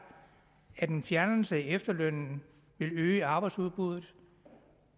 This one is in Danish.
at en fjernelse af efterlønnen vil øge arbejdsudbuddet